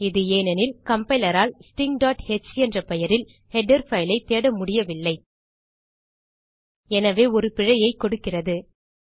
இது ஏனெனில் கம்பைலர் ஆல் stingஹ் என்ற பெயரில் ஹெடர் பைல் ஐ தேடமுடியவில்லை எனவே ஒரு பிழையைக் கொடுக்கிறது